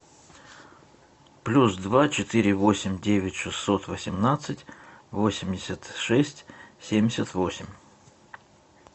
плюс два четыре восемь девять шестьсот восемнадцать восемьдесят шесть семьдесят восемь